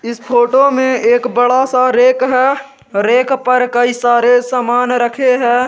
इस फोटो में एक बड़ा सा रैक है रैक पर कई सारे सामान रखे हैं।